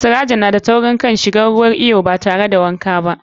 Sirajo na da taurin kai shigan ruwan fool batare da wanka ba.